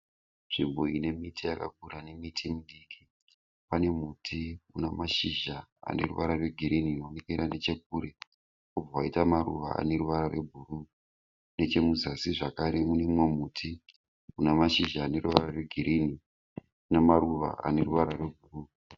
Nzvimbo ine miti yakura nemiti midiki. Pane muti una mashizha aneruvara rwe girinhi uno onekera nechekure. Wobva waita maruva aneruvara rwe bhuruu. Nechemuzasi zvekare mune úmwe muti una mashizha aneruvara rwegirinhi namaruva ane ruvara rwe bhuruu.